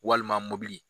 Walima mɔbili